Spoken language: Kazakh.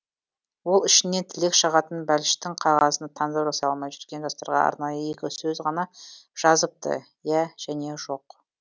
ол ішінен тілек шығатын бәліштің қағазына таңдау жасай алмай жүрген жастарға арнайы екі сөз ғана жазыпты иә және жоқ